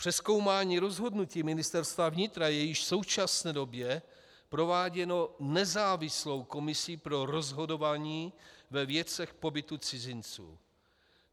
Přezkoumání rozhodnutí Ministerstva vnitra je již v současné době prováděno nezávislou komisí pro rozhodování ve věcech pobytu cizinců.